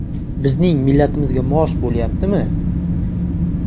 Bizning millatimizga mos bo‘lyaptimi?